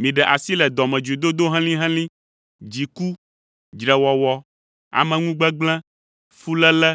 Miɖe asi le dɔmedzoedodo helĩhelĩ, dziku, dzrewɔwɔ, ameŋugbegblẽ, fuléle